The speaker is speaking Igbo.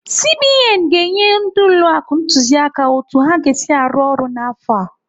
CBN ga-enye ndị ụlọ akụ ntụziaka otu ha ga-esi arụ ọrụ n'afọ a.